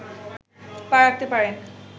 পা রাখতে পারেন